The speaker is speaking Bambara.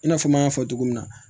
I n'a fɔ n y'a fɔ cogo min na